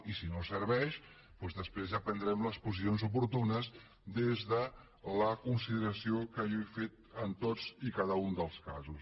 i si no serveix doncs després ja prendrem les posicions oportunes des de la consideració que jo he fet en tots i cada un dels casos